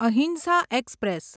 અહિંસા એક્સપ્રેસ